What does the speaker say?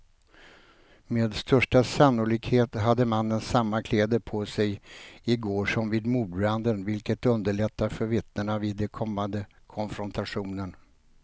Med största sannolikhet hade mannen samma kläder på sig i går som vid mordbranden, vilket underlättar för vittnena vid den kommande konfrontationen.